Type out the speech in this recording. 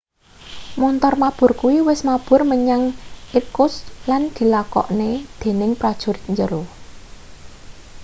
montor mabur kuwi wis mabur menyang irkutsk lan dilakokne dening prajurit njero